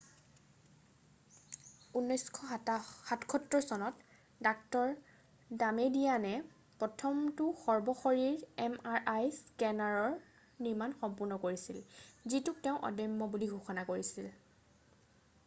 1977 চনত ডাঃ ডামেডিয়ানে প্ৰথমটো সৰ্বশৰীৰ এম আৰ আই স্কেনাৰৰ নিৰ্মাণ সম্পূৰ্ণ কৰিছিল যিটোক তেওঁ অদম্য বুলি ঘোষণা কৰিছিল